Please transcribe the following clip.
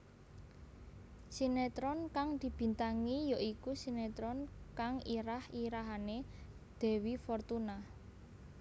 Sinetron kang dibintangi ya iku sinetron kang irah irahané Dewi Fortuna